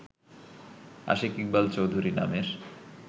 আশিক ইকবাল চৌধুরী নামের